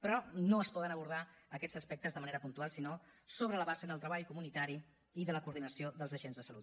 però no es poden abordar aquests aspectes de manera puntual sinó sobre la base del treball comunitari i de la coordinació dels agents de salut